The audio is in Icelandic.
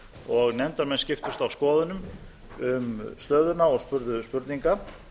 og nefndarmenn skiptust á skoðunum um stöðuna og spurðu spurninga